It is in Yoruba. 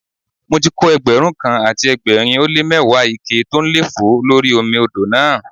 Mo ti kó Ẹgbẹ̀rún kan àti ẹgbẹ̀rin ó lé mẹ́wàá ike tó ń lé fòó lórí omi odò náà.